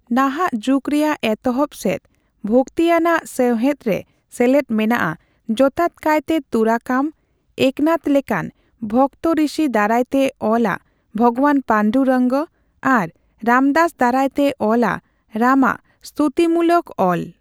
ᱱᱟᱦᱟᱜ ᱡᱩᱜ ᱨᱮᱭᱟᱜ ᱮᱛᱚᱦᱚᱵ ᱥᱮᱫ ᱵᱷᱚᱠᱛᱤ ᱟᱱᱟᱜ ᱥᱮᱣᱦᱮᱫ ᱨᱮ ᱥᱮᱞᱮᱫ ᱢᱮᱱᱟᱜᱼᱟ ᱡᱚᱛᱟᱛ ᱠᱟᱭᱛᱮ ᱛᱩᱨᱟᱠᱟᱢ, ᱮᱠᱱᱟᱛᱷ ᱞᱮᱠᱟᱱ ᱵᱷᱠᱛᱤ ᱨᱤᱥᱤ ᱫᱟᱨᱟᱭᱛᱮ ᱚᱞᱟ ᱵᱷᱚᱜᱚᱵᱟᱱ ᱯᱟᱱᱰᱩᱨᱚᱝᱜᱚ, ᱟᱨ ᱨᱟᱢᱫᱟᱥ ᱫᱟᱨᱟᱭᱛᱮ ᱚᱞᱟ ᱨᱟᱢᱟᱜ ᱥᱛᱩᱛᱤᱢᱩᱞᱚᱠ ᱚᱞ ᱾